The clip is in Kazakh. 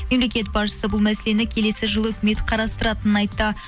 мемлекет басшысы бұл мәселені келесі жылы үкімет қарастыратынын айтты